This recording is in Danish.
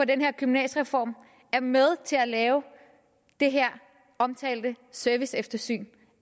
den her gymnasiereform er med til at lave det her omtalte serviceeftersyn